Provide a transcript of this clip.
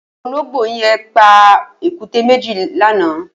Ólóngbó yẹn pà ékùté méji lànã